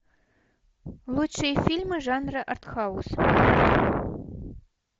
лучшие фильмы жанра арт хаус